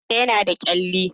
Idon ta yana ta kalli